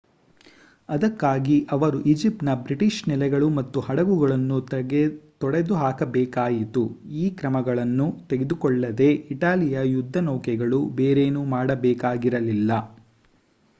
ಅದಕ್ಕಾಗಿ ಅವರು ಈಜಿಪ್ಟ್‌ನ ಬ್ರಿಟಿಷ್ ನೆಲೆಗಳು ಮತ್ತು ಹಡಗುಗಳನ್ನು ತೊಡೆದುಹಾಕಬೇಕಾಯಿತು. ಆ ಕ್ರಮಗಳನ್ನು ತೆಗೆದಕೊಳ್ಳದೇ ಇಟಲಿಯ ಯುದ್ಧನೌಕೆಗಳು ಬೇರೇನನ್ನೂ ಮಾಡಬೇಕಾಗಿರಲಿಲ್ಲ